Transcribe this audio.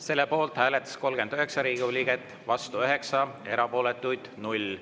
Selle poolt hääletas 39 Riigikogu liiget, vastu 9, erapooletuid 0.